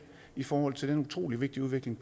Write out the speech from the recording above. i forhold til den utrolig vigtige udvikling